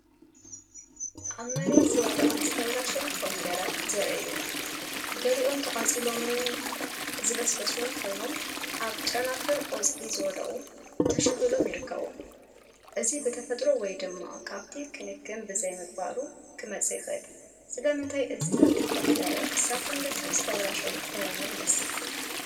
ኣብ መሬት ዝወደቐን ዝተበላሸወን ኮሚደረ ዘርኢ እዩ። ገሊኦም ተቓጺሎምን ዝበስበሱን ኮይኖም፡ ኣብ ጨናፍር ቆጽሊ ዝወድቕ ተሸኺሎም ይርከቡ። እዚ ብተፈጥሮ ወይ ድማ ካብቲ ክንከን ብዘይምግባሩ ክመጽእ ይኽእል። ስለምንታይ እዚ ተኽሊ ኮሚደረ ክሳብ ክንድዚ ዝተበላሸወን ሕሙምን ይመስል?